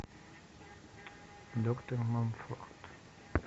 доктор мамфорд